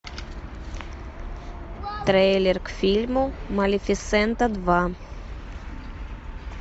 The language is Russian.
трейлер к фильму малефисента два